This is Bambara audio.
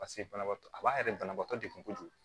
Paseke banabaatɔ a b'a yɛrɛ banabaatɔ degun kojugu